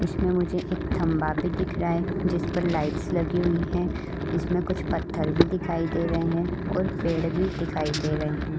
इसमें मुझे एक खंबा भी दिख रहा है जिस पर लाइट्स लगी हुई है इसमें कुछ पत्थर भी दिखाई दे रहे है और पेड़ पे दिखाई दे रहे हैं।